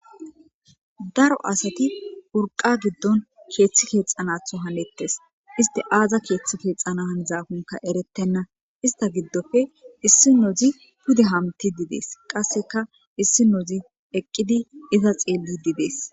daro asati burqa giddon keeththi keexanatho hanettes iste aaza keeththi keexana hanzakonka eretenna ista giddofe issi nozi pude hamti didees qasseka issi nozi eqqidi iza xeelli didees